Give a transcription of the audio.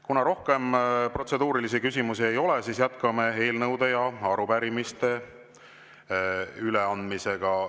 Kuna rohkem protseduurilisi küsimusi ei ole, siis jätkame eelnõude ja arupärimiste üleandmist.